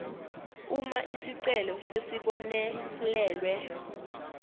uma isicelo sesibonelelwe